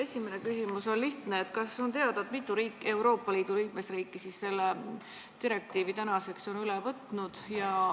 Esimene küsimus on lihtne: kas on teada, mitu Euroopa Liidu liikmesriiki on selle direktiivi tänaseks üle võtnud?